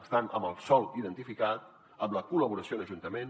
estan amb el sòl identificat amb la col·laboració amb ajuntaments